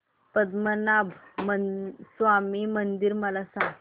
पद्मनाभ स्वामी मंदिर मला सांग